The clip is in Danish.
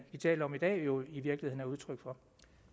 taler om i dag jo i virkeligheden er udtryk for